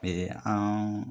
an